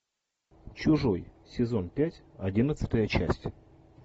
чужой сезон пять одиннадцатая часть